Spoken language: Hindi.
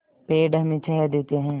पेड़ हमें छाया देते हैं